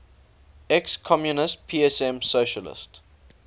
ex communist psm socialist